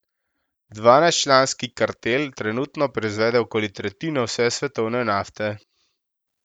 Dvanajstčlanski kartel trenutno proizvede okoli tretjino vse svetovne nafte.